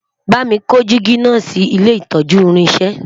bámi kò jìgì nà sí ilé itọju irinṣẹ